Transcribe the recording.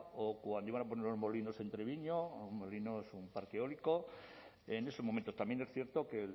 o cuando iban a poner los molinos en treviño los molinos un parque eólico en estos momentos también es cierto que